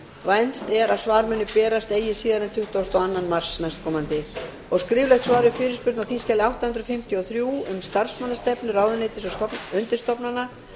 vænst er að svar muni berast eigi síðar en tuttugasta og annan mars næstkomandi fimmta skriflegt svar við fyrirspurn á þingskjali átta hundruð fimmtíu og þrjú um starfsmannastefnu ráðuneyta og undirstofnana